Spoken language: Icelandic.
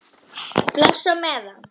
Bless á meðan.